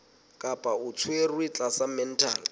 kapa o tshwerwe tlasa mental